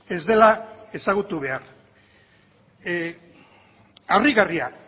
ez dela ezagutu behar harrigarria